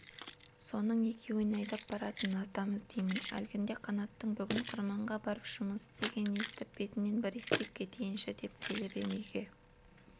соның екеуіне айдап баратын адам іздеймін әлгінде қанаттың бүгін қырманға барып жұмыс істегенін естіп бетінен бір иіскеп кетейінші деп келіп ем үйге